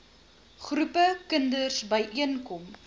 groepe kinders byeenkom